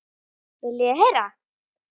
Viljið þið heyra?